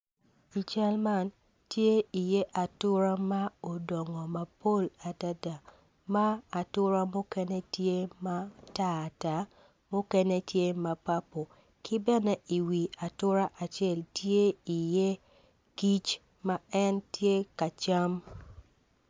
I cal man tye i iye atura ma odongo mapol adada ma atura mukene tye matar ta mukene tye ma papo ki bene i wi atura acel ti i iye kic ma en tye kacam